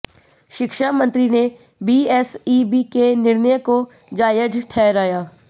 शिक्षा मंत्री ने बीएसईबी के निर्णय को जायज ठहराया